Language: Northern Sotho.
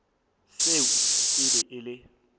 seo e be e le